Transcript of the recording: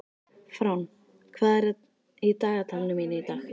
Fránn, hvað er í dagatalinu mínu í dag?